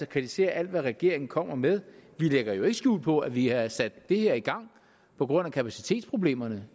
kritisere alt hvad regeringen kommer med vi lægger jo ikke skjul på at vi har sat det her i gang på grund af kapacitetsproblemerne